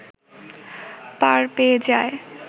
পার পেয়ে যায়